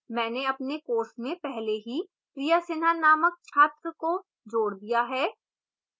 मैंने अपने course में पहले ही priya sinha नामक छात्र को जोड़ दिया है